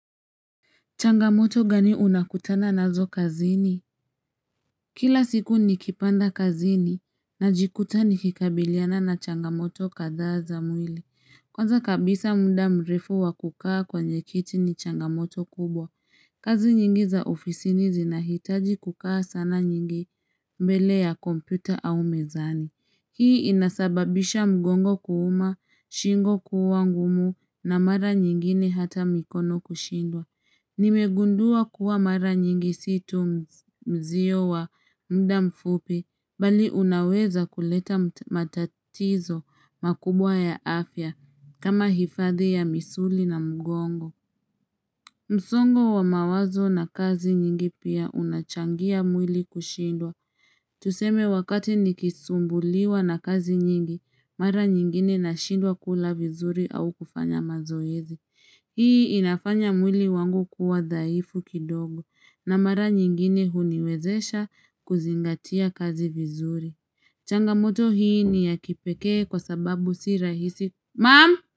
Changamoto gani unakutana nazo kazini? Kila siku nikipanda kazini na jikuta nikikabiliana na changamoto kadhaa za mwili. Kwanza kabisa muda mrefu wakukaa kwenye kiti ni changamoto kubwa. Kazi nyingi za ofisini zinahitaji kukaa sana nyingi mbele ya kompyuta au mezani. Hii inasababisha mgongo kuuma, shingo kuwa ngumu na mara nyingine hata mikono kushindwa. Nimegundua kuwa mara nyingi si tu mzio wa mda mfupi Bali unaweza kuleta matatizo makubwa ya afya kama hifadhi ya misuli na mgongo msongo wa mawazo na kazi nyingi pia unachangia mwili kushindwa Tuseme wakati nikisumbuliwa na kazi nyingi Mara nyingine nashindwa kula vizuri au kufanya mazoezi Hii inafanya mwili wangu kuwa dhaifu kidogo na mara nyingine huniwezesha kuzingatia kazi vizuri. Changamoto hii ni ya kipekee kwa sababu si rahisi. Mam!